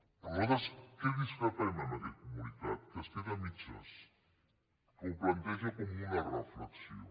però nosaltres en què discrepem d’aquest comunicat que es queda a mitges que ho planteja com una reflexió